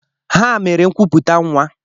Ha mere nkwuputa nwa